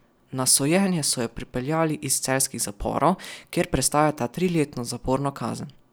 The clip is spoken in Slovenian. Na sojenje so ju pripeljali iz celjskih zaporov, kjer prestajata triletno zaporno kazen.